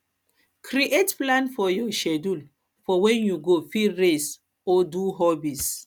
create plan for your schedule for when you go fit rest or do hobbies